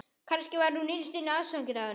Kannski var hún innst inni ástfangin af honum.